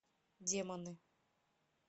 демоны